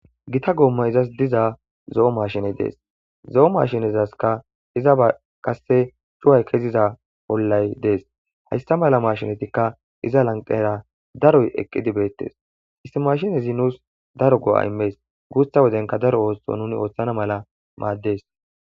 gita goommay diza zo7o mashiney dees zo7o maashinezaskka iza a qasse cuway keziza pollay dees hayssa mala maashinatikka iza lanqera daroy eqqidi beettes istimashinezi nuus daro go7a immees guusta wodenka daro oothso nuni ooththana mala maaddes